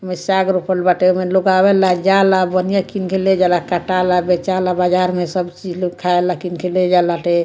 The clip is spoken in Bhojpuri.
इमें साग रोपल बाटे इमें लोग आवेला जाला बनिया किन के ले जाला कटाला बेचाला बजार में सब चीज लोग खाएला किन के ले जा लाटे।